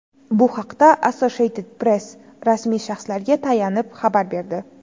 Bu haqda Associated Press rasmiy shaxslarga tayanib xabar berdi.